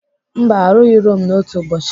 Mba arụghị Rome n'otu ụbọchị.